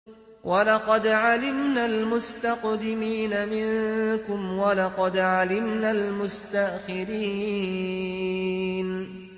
وَلَقَدْ عَلِمْنَا الْمُسْتَقْدِمِينَ مِنكُمْ وَلَقَدْ عَلِمْنَا الْمُسْتَأْخِرِينَ